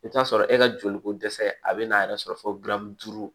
I bɛ t'a sɔrɔ e ka joli ko dɛsɛ a bɛ n'a yɛrɛ sɔrɔ fo